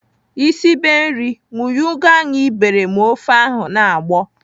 Ị sibe nri, wunye ugu ahụ ị bere ma ofe ahụ na-agbọ!